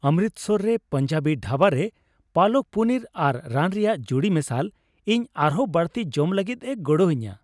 ᱚᱢᱨᱤᱛᱥᱚᱨ ᱨᱮ ᱯᱟᱧᱡᱟᱵᱤ ᱰᱷᱟᱵᱟ ᱨᱮ ᱯᱟᱞᱚᱠ ᱯᱚᱱᱤᱨ ᱟᱨ ᱱᱟᱱ ᱨᱮᱭᱟᱜ ᱡᱩᱲᱤᱼᱢᱮᱥᱟᱞ ᱤᱧ ᱟᱨᱦᱚᱸ ᱵᱟᱹᱲᱛᱤ ᱡᱚᱢ ᱞᱟᱹᱜᱤᱫᱼᱮ ᱜᱚᱦᱚᱲᱤᱧᱟᱹ ᱾